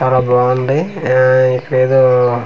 చాలా బాగుంది ఆఆ ఇక్కడ ఏదో .]